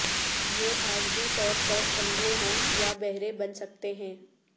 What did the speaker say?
یہ عارضی طور پر اندھے ہو یا بہرے بن سکتے ہیں